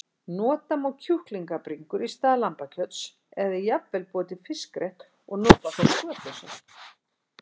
Nota má kjúklingabringur í stað lambakjöts eða jafnvel búa til fiskrétt og nota þá skötusel.